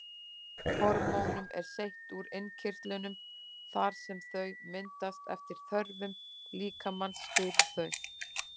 Hormónum er seytt úr innkirtlunum þar sem þau myndast eftir þörfum líkamans fyrir þau.